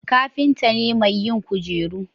kafinta ne mai yin kujeru